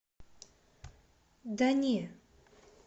да не